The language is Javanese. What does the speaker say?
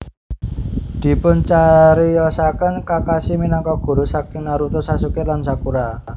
Dipuncariyosaken Kakashi minangka guru saking Naruto Sasuke lan Sakura